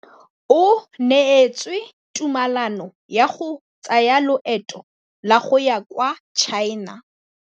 O neetswe tumalanô ya go tsaya loetô la go ya kwa China.